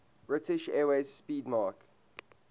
british airways 'speedmarque